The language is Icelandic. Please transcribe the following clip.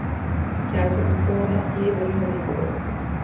Gæsirnar þora ekki yfir rauðu línuna